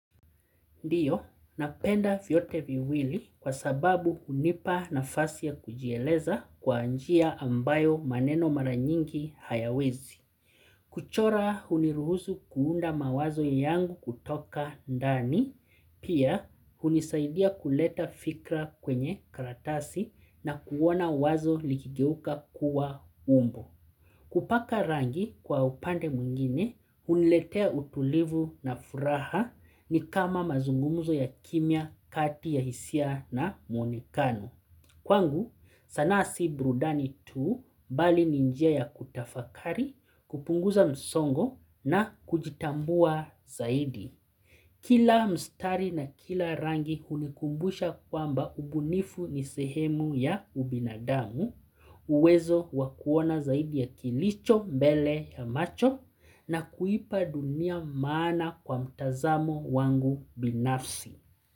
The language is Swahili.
Ndiyo, napenda vyote viwili kwa sababu hunipa nafasi ya kujieleza kwa njia ambayo maneno maranyingi hayawezi. Kuchora huniruhusu kuunda mawazo ya yangu kutoka ndani, pia hunisaidia kuleta fikra kwenye karatasi na kuona wazo likigeuka kuwa umbo. Kupaka rangi kwa upande mwingine, huniletea utulivu na furaha ni kama mazungumuzo ya kimya, kati ya hisia na muonekano. Kwangu, sanaa si burudani tuu bali ni njia ya kutafakari, kupunguza msongo na kujitambua zaidi. Kila mstari na kila rangi hulikumbusha kwamba ubunifu ni sehemu ya ubinadamu, uwezo wa kuona zaidi ya kilicho mbele ya macho na kuipa dunia maana kwa mtazamo wangu binafsi.